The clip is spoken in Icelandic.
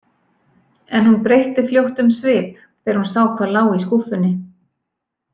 En hún breytti fljótt um svip þegar hún sá hvað lá í skúffunni.